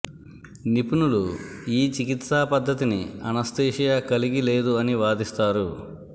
నిపుణులు ఈ చికిత్సా పద్ధతిని అనస్థీషియా కలిగి లేదు అని వాదిస్తారు